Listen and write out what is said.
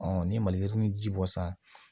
ni maliyirini ji bɔ san